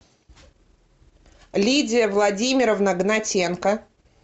лидия владимировна гнатенко